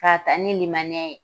K'a taa ni limaniya ye